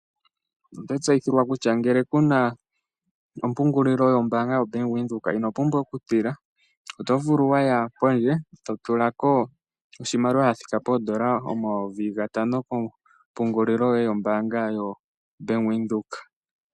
Oto tseyithilwa kutya ngele ku na omapungulilo yombaanga yoBank Windhoek, ino pumbwa okutila, oto vulu wa ya pondje, to tula ko oshimaliwa sha thika poondola omayovi gatano kompungulilo yoye yoBank Windhoek.